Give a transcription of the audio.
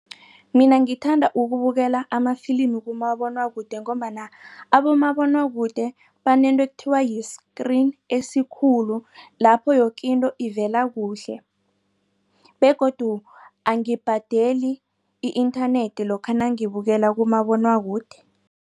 Mina ngithanda ukubukela amafilimi kumabonwakude ngombana abomabonwakude banento ekuthiwa yi-screen esikhulu lapho yoke into ivela kuhle begodu angibhadeli i-internet lokha nangibukele kumabonwakude.